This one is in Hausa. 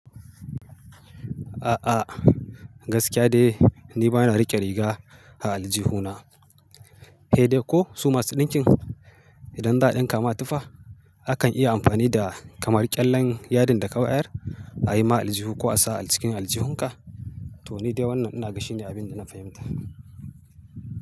A'a gaskiya dai ni bana riƙe riga a aljihuna. He dai ko su masu ɗinkin idan za a ɗinka ma tufa, akan iya amfani da kamar ƙyallen yadin da ka bayar a yi ma aljihu ko a sa a jikin aljihunka. To ni dai wannan ina gashi ne abin da na fahimta.